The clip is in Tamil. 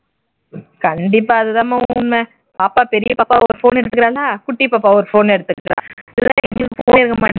கண்டிப்பா அது தான்மா உண்மை பாப்பா பெரிய பாப்பா ஒரு phone எடுத்துகிறாளா குட்டி பாப்பா ஒரு phone எடுத்துக்கிறா